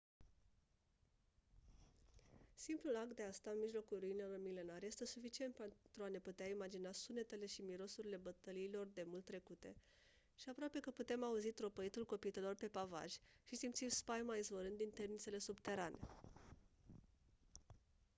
simplul act de a sta în mijlocul ruinelor milenare este suficient pentru a ne putea imagina sunetele și mirosurile bătăliilor demult trecute și aproape că putem auzi tropăitul copitelor pe pavaj și simți spaima izvorând din temnițele subterane